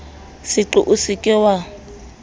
seqo o se ke wa